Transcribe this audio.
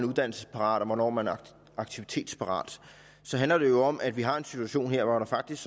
uddannelsesparat og hvornår man er aktivitetsparat så handler det jo om at vi har en situation her hvor der faktisk